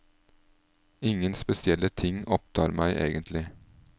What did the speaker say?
Ingen spesielle ting opptar meg egentlig.